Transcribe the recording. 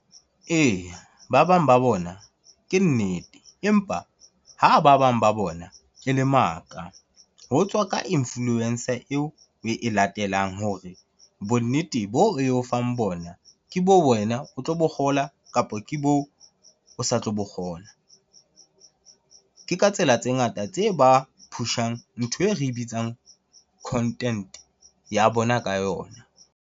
Eya, ba bang ba bona ke nnete empa ha ba bang ba bona e le maka. Ho tswa ka influencer eo oe latelang hore bonnete boo eo fang bona ke boo wena o tlo bo kgola kapo ke boo o sa tlo bo kgola. Ke ka tsela tse ngata tse ba push-ang ntho e re bitsang content ya bona ka yona.